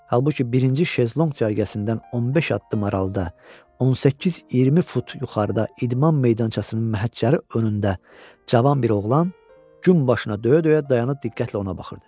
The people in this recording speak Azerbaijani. Halbuki birinci şezlonq cərgəsindən 15 addım aralıda, 18-20 fut yuxarıda idman meydançasının məhəccəri önündə cavan bir oğlan gün başına döyə-döyə dayanıb diqqətlə ona baxırdı.